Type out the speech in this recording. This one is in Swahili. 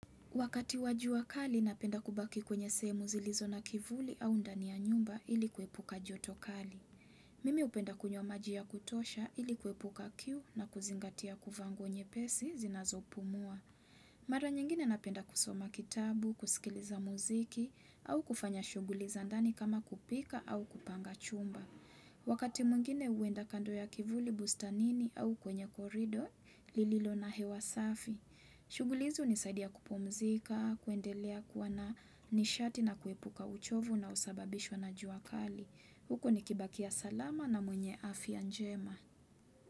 Wakati wa jua kali napenda kubaki kwenye sehemu zilizo na kivuli au ndani ya nyumba ili kuepuka joto kali. Mimi hupenda kunywa maji ya kutosha ili kuepuka kiu na kuzingatia kuvaa nguo nyepesi zinazo pumua. Mara nyingine napenda kusoma kitabu, kusikiliza muziki au kufanya shuguli za ndani kama kupika au kupanga chumba. Wakati mwingine huenda kando ya kivuli bustanini au kwenye korido, lililo na hewasafi. Shughuli hizo hunisaadia kupumzika, kuendelea kuwa na nishati na kuepuka uchovu unaosababishwa na juakali Huku nikibakia salama na mwenye afia njema.